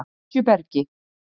Esjubergi